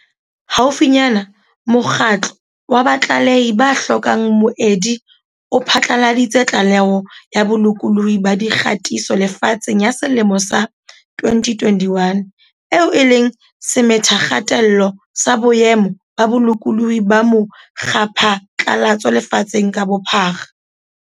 Haufinyane, mokgatlo wa Batlalehi ba hlokang Moedi o phatlaladitse Tlaleho ya Bolokolohi ba Dikgatiso Lefatsheng ya selemo sa 2021, eo e leng semethakgatello sa boemo ba bolokolohi ba mo kgwaphatlalatso lefatsheng ka bophara.